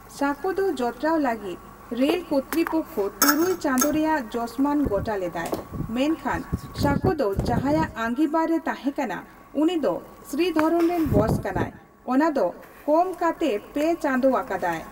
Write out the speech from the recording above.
ᱥᱟᱸᱠᱚ ᱫᱚ ᱡᱚᱛᱨᱟᱣ ᱞᱟᱹᱜᱤᱫ ᱨᱮᱞ ᱠᱚᱨᱛᱤᱯᱚᱠᱠᱷᱚ ᱛᱩᱨᱩᱭ ᱪᱟᱸᱫᱳ ᱨᱮᱭᱟᱜ ᱡᱚᱥᱢᱟᱱ ᱜᱚᱴᱟ ᱞᱮᱫᱟᱭ ᱢᱮᱱᱠᱷᱟᱱ ᱥᱟᱸᱠᱳᱫᱚ ᱡᱟᱦᱟᱸᱭᱟᱜ ᱟᱸᱜᱤᱵᱷᱟᱨ ᱨᱮ ᱛᱟᱦᱮᱸᱠᱟᱱᱟ ᱩᱱᱤ ᱫᱚ ᱥᱨᱤᱫᱷᱚᱨᱚᱱᱨᱮᱱ ᱵᱚᱥ ᱠᱟᱱᱟᱭ, ᱚᱱᱟᱫᱚ ᱠᱚᱢᱠᱟᱛᱮ ᱯᱮ ᱪᱟᱸᱫᱳ ᱟᱠᱟᱫᱟᱭ ᱾